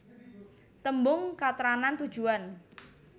Tembung katrangan tujuan